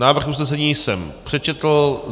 Návrh usnesení jsem přečetl.